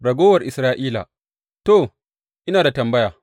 Ragowar Isra’ila To, ina da tambaya.